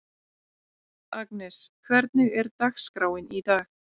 Agnes, hvernig er dagskráin í dag?